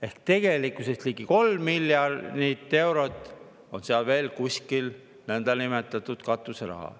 Ehk tegelikkuses on ligi 3 miljonit eurot seal kuskil veel nõndanimetatud katuseraha.